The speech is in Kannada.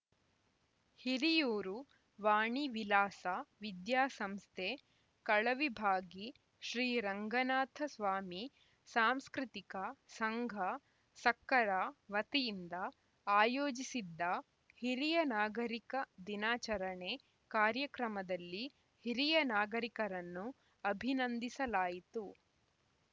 ಹಿರಿಯೂರು ವಾಣಿ ವಿಲಾಸ ವಿದ್ಯಾಸಂಸ್ಥೆ ಕಳವಿಭಾಗಿ ಶ್ರೀ ರಂಗನಾಥಸ್ವಾಮಿ ಸಾಂಸ್ಕೃತಿಕ ಸಂಘ ಸಕ್ಕರ ವತಿಯಿಂದ ಆಯೋಜಿಸಿದ್ದ ಹಿರಿಯ ನಾಗರಿಕರ ದಿನಾಚರಣೆ ಕಾರ್ಯಕ್ರಮದಲ್ಲಿ ಹಿರಿಯ ನಾಗರಿಕರನ್ನು ಅಭಿನಂದಿಸಲಾಯಿತು